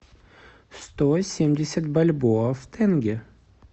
сто семьдесят бальбоа в тенге